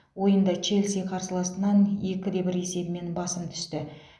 ойында челси қарсыласынан екі де бір есебімен басым түсті